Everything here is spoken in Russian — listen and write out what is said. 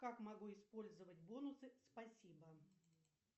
как могу использовать бонусы спасибо